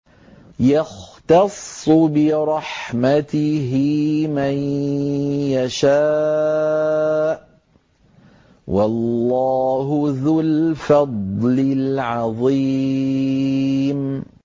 يَخْتَصُّ بِرَحْمَتِهِ مَن يَشَاءُ ۗ وَاللَّهُ ذُو الْفَضْلِ الْعَظِيمِ